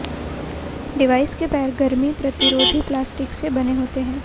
device के पैर गर्मी प्रतिरोधी प्लास्टिक से बने होते हैं